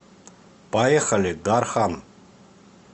поехали дархан